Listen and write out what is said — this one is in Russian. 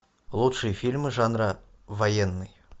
лучшие фильмы жанра военный